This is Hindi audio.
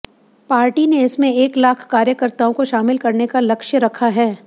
पार्टी ने इसमें एक लाख कार्यकर्ताओं को शामिल करने का लक्ष्य रखा है